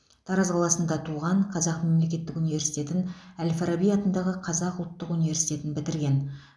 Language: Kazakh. тараз қаласында туған қазақ мемлекеттік университетін әл фараби атындағы қазақ ұлттық университетін бітірген